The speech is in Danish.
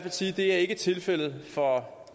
sige ikke er tilfældet for